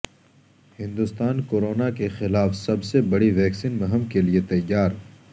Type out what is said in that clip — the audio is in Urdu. ہندوستان کورونا کیخلاف سب سے بڑی ویکسین مہم کیلئے تیار